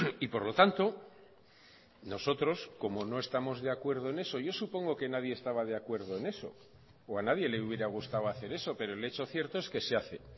y por lo tanto nosotros como no estamos de acuerdo en eso yo supongo que nadie estaba de acuerdo en eso o a nadie le hubiera gustado hacer eso pero el hecho cierto es que se hace